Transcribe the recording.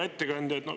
Hea ettekandja!